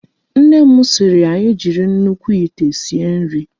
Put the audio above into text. Nne m sịịrị anyị jiri nnukwu ite sie nri.